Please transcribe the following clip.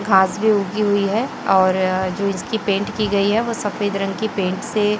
घास भी उगी हुई हैं और जो इसकी पेंट की गई हैं वह सफेद रंग की पेंट से--